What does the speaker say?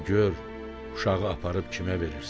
Ancaq gör uşağı aparıb kimə verirsən?